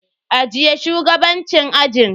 Ajiye shugabancin ajin.